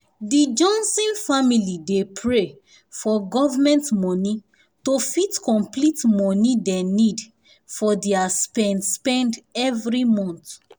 di johnson family dey pray for government money to fit complete money dey need for their spend spend every month